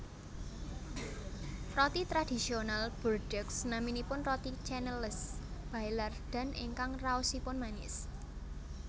Roti tradisional Bordeaux naminipun roti Canneles Baillardan ingkang raosipun manis